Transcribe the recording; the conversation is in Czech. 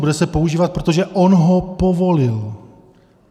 Bude se používat, protože on ho povolil.